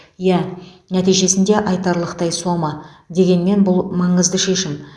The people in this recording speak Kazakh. иә нәтижесінде айтарлықтай сома дегенмен бұл маңызды шешім